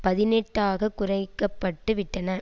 பதினெட்டு ஆக குறைக்க பட்டு விட்டன